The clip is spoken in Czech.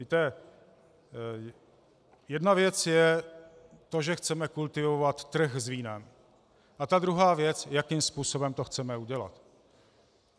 Víte, jedna věc je to, že chceme kultivovat trh s vínem, a ta druhá věc, jakým způsobem to chceme udělat.